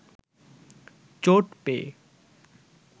চোট পেয়ে